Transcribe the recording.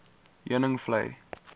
heuningvlei